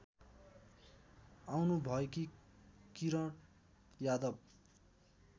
आउनुभएकी Kiran Yadav